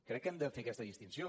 crec que hem de fer aquesta distinció